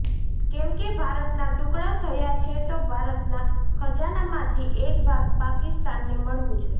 કેમકે ભારતના ટુકડા થયા છે તો ભારતના ખજાના માંથી એક ભાગ પાકિસ્તાન ને મળવું જોઈએ